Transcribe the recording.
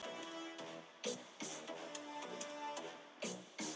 Það er ársmeðalhitinn við yfirborð á þessum stað.